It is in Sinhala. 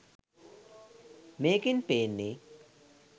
මේකෙන් පේන්නේ